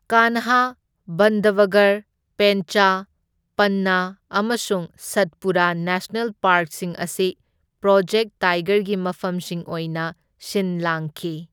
ꯀꯥꯟꯍꯥ, ꯕꯟꯙꯕꯒꯔ, ꯄꯦꯟꯆ, ꯄꯟꯅꯥ ꯑꯃꯁꯨꯡ ꯁꯠꯄꯨꯔꯥ ꯅꯦꯁꯅꯦꯜ ꯄꯥꯔꯛꯁꯤꯡ ꯑꯁꯤ ꯄ꯭ꯔꯣꯖꯦꯛꯠ ꯇꯥꯏꯒꯔꯒꯤ ꯃꯐꯝꯁꯤꯡ ꯑꯣꯏꯅ ꯁꯤꯟ ꯂꯥꯡꯈꯤ꯫